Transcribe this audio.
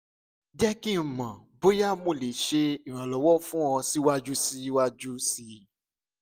jẹ ki n mọ boya mo le ṣe iranlọwọ fun ọ siwaju siwaju sii